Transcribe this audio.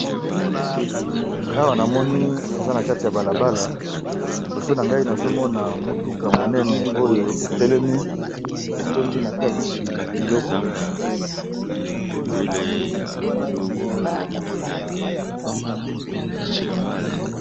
Awa na moni eza na kati ya balabala liboso na ngai nazomona motuka monene oyo etelemi etondi na kati biloko.